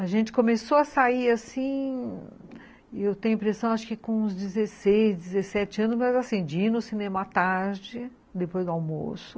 A gente começou a sair assim, eu tenho a impressão, acho que com uns dezesseis, dezessete anos, mas assim, de ir no cinema à tarde, depois do almoço.